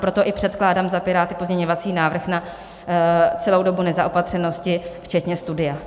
Proto i předkládám za Piráty pozměňovací návrh na celou dobu nezaopatřenosti včetně studia.